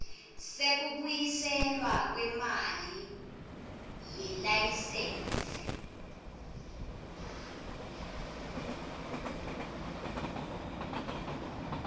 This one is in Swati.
sekubuyiselwa kwemali yelayisensi